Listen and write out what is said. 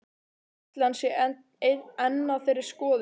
Ætli hann sé enn á þeirri skoðun?